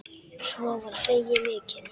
Svo var hlegið mikið.